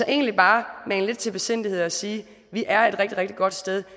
egentlig bare mane til lidt besindighed og sige vi er et rigtig rigtig godt sted